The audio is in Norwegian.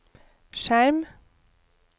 skjerm